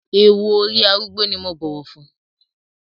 Ewú orí arúgbó ni mo bọ̀wọ̀ fún.